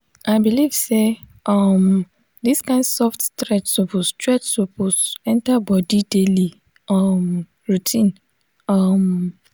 i believe say um this kind soft stretch suppose stretch suppose enter body daily um routine. um